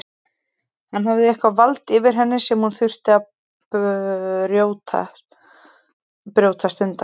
Hann hafði eitthvert vald yfir henni sem hún þurfti að brjótast undan.